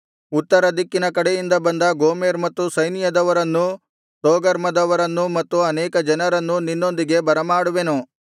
ಉತ್ತರದಿಕ್ಕಿನ ಕಟ್ಟಕಡೆಯಿಂದ ಬಂದ ಗೋಮೆರ್ ಮತ್ತು ಸೈನ್ಯದವರನ್ನೂ ತೋಗರ್ಮದವರನ್ನು ಮತ್ತು ಅನೇಕ ಜನರನ್ನು ನಿನ್ನೊಂದಿಗೆ ಬರಮಾಡುವೆನು